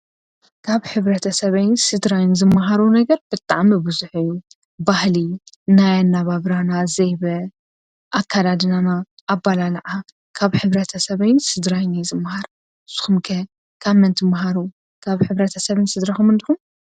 ካብ ሕብረተ ሰበይን ስድራይን ዝመሃሮ ነገር ብጣዕሚብዙሕ እዩ፡፡ ባህሊ ናያ ኣናባብና ዘይበ፣ ኣካዳድናና፣ ኣባላልዓ ካብ ሕብረተ ሰበይን ስድራይን እየ ዝመሃር፡፡ ንስኹም ከ ካብ መን ትመሃሩ ካብ ሕብረተ ሰብን ስድራኹምን ዲኹም?